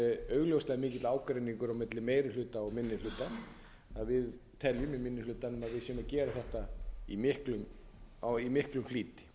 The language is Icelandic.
er augljóslega mikill ágreiningur á milli meiri hluta og minni hluta að við teljum í minni hlutanum að við séum gera þetta í miklum flýti